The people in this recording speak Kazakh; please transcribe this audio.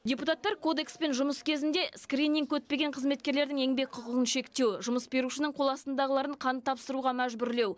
депутаттар кодекспен жұмыс кезінде скрининг өтпеген қызметкерлердің еңбек құқығын шектеу жұмыс берушінің қол астындағыларын қан тапсыруға мәжбүрлеу